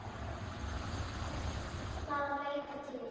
Engin Jóna að leita til.